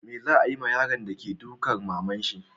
Me za'a yi ma yaron de ke dukan maman shi?